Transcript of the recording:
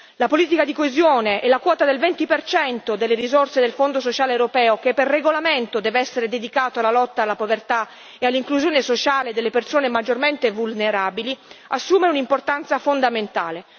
La politica di coesione e la quota del 20 delle risorse del Fondo sociale europeo, che per regolamento deve essere dedicato alla lotta alla povertà e all'inclusione sociale delle persone maggiormente vulnerabili, assume un'importanza fondamentale.